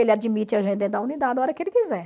Ele admite a gente dentro da unidade a hora que ele quiser.